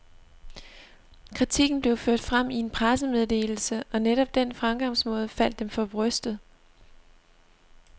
Kritikken blev ført frem i en pressemeddelse, og netop den fremgangsmåde faldt dem for brystet.